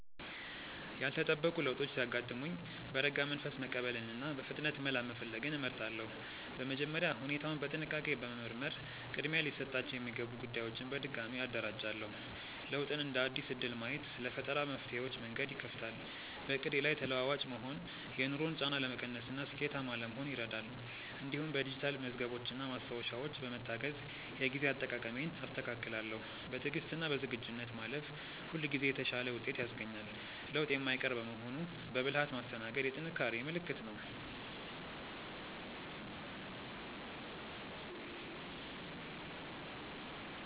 ያልተጠበቁ ለውጦች ሲያጋጥሙኝ በረጋ መንፈስ መቀበልንና በፍጥነት መላ መፈለግን እመርጣለሁ። በመጀመሪያ ሁኔታውን በጥንቃቄ በመመርመር ቅድሚያ ሊሰጣቸው የሚገቡ ጉዳዮችን በድጋሚ አደራጃለሁ። ለውጥን እንደ አዲስ እድል ማየት ለፈጠራ መፍትሄዎች መንገድ ይከፍታል። በዕቅዴ ላይ ተለዋዋጭ መሆን የኑሮን ጫና ለመቀነስና ስኬታማ ለመሆን ይረዳል። እንዲሁም በዲጂታል መዝገቦችና ማስታወሻዎች በመታገዝ የጊዜ አጠቃቀሜን አስተካክላለሁ። በትዕግስትና በዝግጁነት ማለፍ ሁልጊዜ የተሻለ ውጤት ያስገኛል። ለውጥ የማይቀር በመሆኑ በብልሃት ማስተናገድ የጥንካሬ ምልክት ነው።